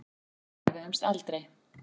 En við efuðumst aldrei.